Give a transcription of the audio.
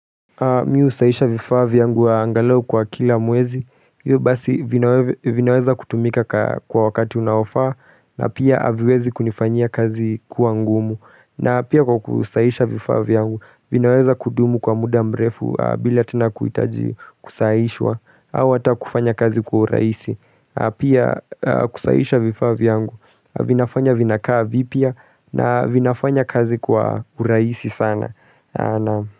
Mimi husahisha vifava vyangu angalau kwa kila mwezi, hiyo basi vinaweza kutumika kwa wakati unaofaa na pia haviwezi kunifanyia kazi kua ngumu na pia kwa kusahisha vifaa vyangu, vinaweza kudumu kwa muda mrefu bila tena kuhitaji kusahishwa, au ata kufanya kazi kwa uraisi, pia kusahisha vifaa vyangu, vinafanya vinakaa vipya na vinafanya kazi kwa urahisi sana.